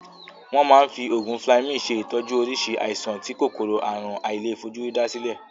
Won ma n fi ogun fleming se itoju orisi aisan ti Kòkòrò àrùn àìlèfojúrí da sile.